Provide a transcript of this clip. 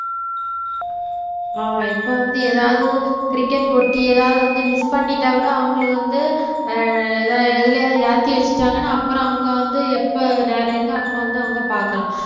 ஆமா இப்ப வந்து ஏதாவது கிரிக்கெட் போட்டி ஏதாவது வந்து miss பண்ணிட்டா கூட அவங்களுக்கு வந்து ஆஹ் ஏதாவது எதுலயாவது ஏத்தி வச்சுட்டாங்கன்னா அப்புறம் அவங்க வந்து எப்ப நேரம் இருக்கோ அப்ப வந்து அவங்க பார்க்கலாம்